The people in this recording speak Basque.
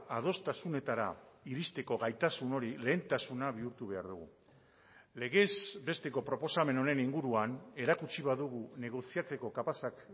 adostasunetara iristeko gaitasun hori lehentasuna bihurtu behar dugu legez besteko proposamen honen inguruan erakutsi badugu negoziatzeko kapazak